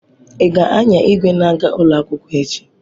Ị ga-anya igwe na-aga ụlọ akwụkwọ echi?